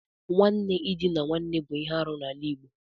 Nwanne idina nwanne bụ ihe arụ n'ala Igbo.